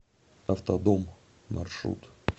автодом маршрут